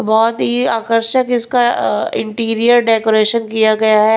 बहुत ही आकर्षक इसका इंटीरियर डेकोरेशन किया गया है।